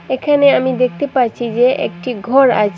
এখানে আমি দেখতে পাচ্ছি যে একটি ঘর আছে।